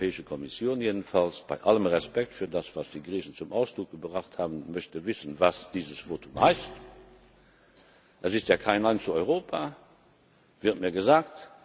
Die Europäische Kommission jedenfalls, bei allem Respekt für das, was die Griechen zum Ausdruck gebracht haben, möchte wissen, was dieses Votum heißt. Es ist ja kein Nein zu Europa, wird mir gesagt.